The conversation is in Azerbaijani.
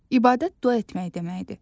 İbadət dua etmək deməkdir.